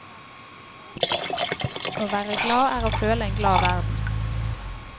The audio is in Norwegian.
Å være glad er å føle en glad verden.